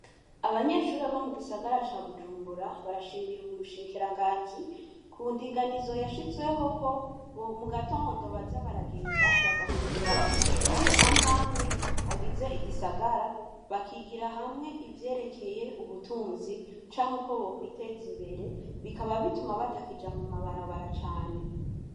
Abanyeshure bo mu gisagara ca bujumbura, barashimira ubushikiranganji ku ndinganizo yashizweho ko mu gitondo baza baragenda bagahurira ku mashure amwe amwe agize igisagara bakigira hamwe ivyerekeye ubutunzi canke uko bokwiteza imbere, bikaba bituma batakija mu mabarabara cane.